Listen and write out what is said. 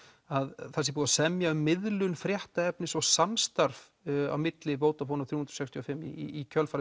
að það sé búið að semja um miðlun fréttaefnis og samstarf á milli Vodafone og þrjú sextíu og fimm í kjölfar